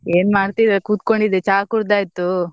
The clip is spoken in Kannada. ಏನ್ ಮಾಡ್ತಿಲ್ಲ ಕೂತ್ಕೊಂಡಿದ್ದೆ, ಚಾ ಕುಡ್ದಾಯ್ತು.